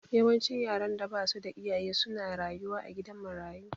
Yawancin yaran da basu da iyaye su na rayuwa a gidan marayu